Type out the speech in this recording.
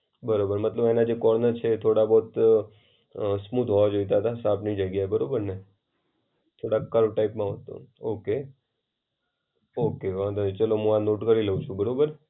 બરાબર મતલબ એના જે કોર્નર છે થોડા બહોત અ સ્મૂઠ હોવા જોયતા તા શાર્પની જગ્યાએ. બરોબરને? થોડા કર્વ ટાઈપના ઓકે ઑકે વાંધો નઈ ચાલો હું આ નોટ કરી લેવ છું. બરોબર.